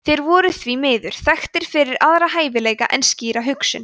þeir voru því miður þekktir fyrir aðra hæfileika en skýra hugsun